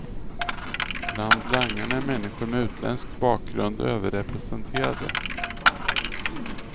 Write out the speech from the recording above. Bland langarna är människor med utländsk bakgrund överrepresenterade.